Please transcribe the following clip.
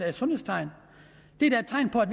et sundhedstegn det er da et tegn på at